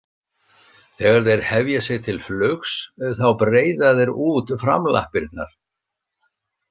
Þegar þeir hefja sig til flugs þá breiða þeir út framlappirnar.